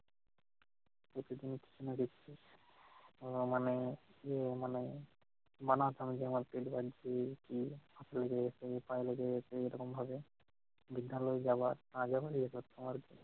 প্রতিটি আহ মানে ইয়ে মানে বানাতাম পায়ে লেগে গেছে এরকম ভাবে। বিদ্যালয়ে যাওয়া আজান দিয়ে করতো আর কি।